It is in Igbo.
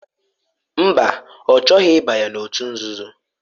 Mba ọ chọghị ịbanye n'òtù nzuzo.